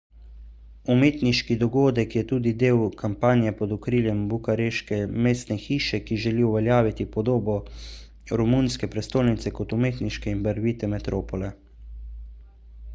umetniški dogodek je tudi del kampanje pod okriljem bukareške mestne hiše ki želi uveljaviti podobo romunske prestolnice kot umetniške in barvite metropole